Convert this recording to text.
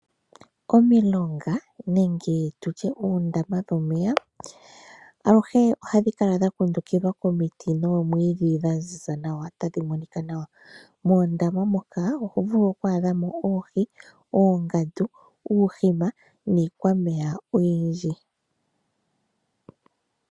Omilonga nenge tu tye oondama dhomeya aluhe ohadhi kala dha kundukidha komiti noomwiidhi dha ziza nawa tadhi monika nawa. Moondama moka oho vulu oku adha mo oohi, oongandu niikwameya oyindji.